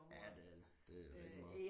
Ja det er det det er rigtig meget